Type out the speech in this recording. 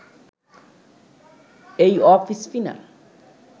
এই off spinner